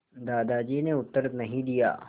दादाजी ने उत्तर नहीं दिया